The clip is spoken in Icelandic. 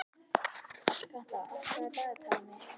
Hallkatla, opnaðu dagatalið mitt.